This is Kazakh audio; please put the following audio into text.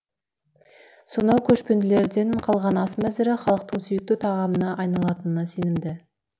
сонау көшпенділерден қалған ас мәзірі халықтың сүйікті тағамына айналатынына сенімді